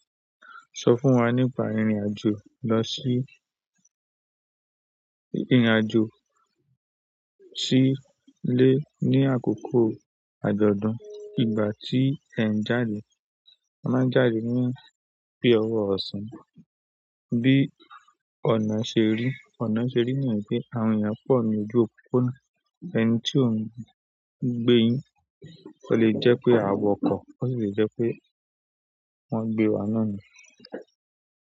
Sọ fún wa nípa ìrìn àjò lọsí ìrìn àjò sí ilé ní àkókò àjọ̀dún. Ìgbà tí ẹ̀ ń jáde, a máa ń jáde ní bí ọwọ́ ọ̀sán. Bí ọ̀nà ṣe rí, ọ̀nà ṣe rí náà ní pé àwọn ènìyàn pọ̀ ní ojú òpópónà. Ẹni tí ò ń gbé yín, o le jẹ́ pé a wọ ọkọ̀, o sì le jẹ́ pé wọ́n gbé wa náà ni.